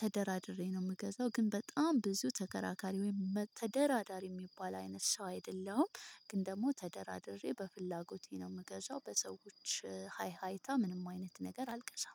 ተደራድሬ ነው የምገዛው። ግን በጣም ብዙ ተከራካሪ ወይም ተደራዳሪ የሚባል አይነት ሰው አይደለም። ግን ደግሞ ተደራድሬ በፍላጎቴ ነው የምገዛው በሰዎች ሃይ ሀይታ ምንም አይነት ነገር አልቀሻም